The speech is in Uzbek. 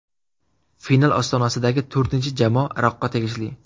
Final ostonasidagi to‘rtinchi jamoa Iroqqa tegishli.